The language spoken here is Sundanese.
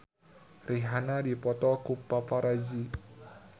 Rihanna dipoto ku paparazi